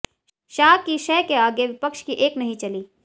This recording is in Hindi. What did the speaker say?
शाह की शह के आगे विपक्ष की एक नहीं चली